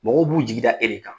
Mɔgɔw b'u jigi da e de kan.